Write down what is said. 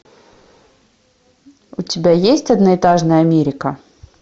у тебя есть одноэтажная америка